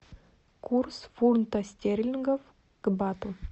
курс фунта стерлингов к бату